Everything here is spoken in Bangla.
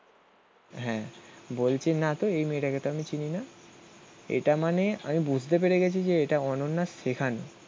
হ্যাঁ, বলছি না তো এই মেয়েটাকে তো আমি চিনি না. এটা মানে আমি বুঝতে পেরে গেছি যে এটা অনন্যার শেখানো.